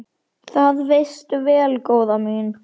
Það veistu vel, góða mín.